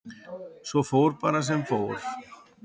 Svo fór bara sem fór.